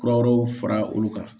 Kura wɛrɛw fara olu kan